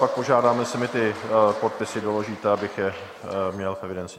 Pak požádám, jestli mi ty podpisy doložíte, abych je měl v evidenci.